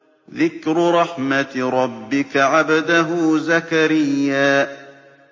ذِكْرُ رَحْمَتِ رَبِّكَ عَبْدَهُ زَكَرِيَّا